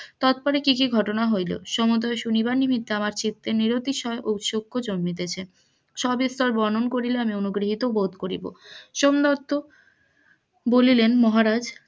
তারপরে কি কি ঘটনা হইল সমোদয় শুনি উতসুখ জম্নিতেছে, সবিস্তার বর্ণন করিলে আমি অনুগৃহীত বোধ করিব সোমদত্ত বলিলেন মহারাজ,